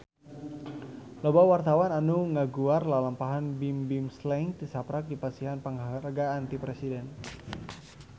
Loba wartawan anu ngaguar lalampahan Bimbim Slank tisaprak dipasihan panghargaan ti Presiden